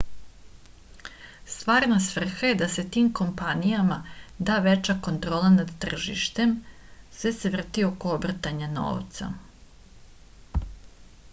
stvarna svrha je da se tim kompanijama da veća kontrola nad tržištem sve se vrti oko obrtanja novca